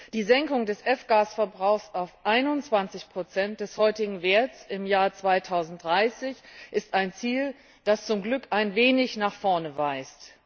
Die Senkung des F Gase Verbrauchs auf 21 des heutigen Werts im Jahr2030 ist ein Ziel, das zum Glück ein wenig nach vorne weist.